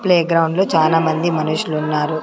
Play ground లో చాలామంది మనుషులు ఉన్నారు.